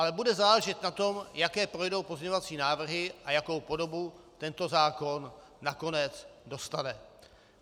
Ale bude záležet na tom, jaké projdou pozměňovací návrhy a jakou podobu tento zákon nakonec dostane.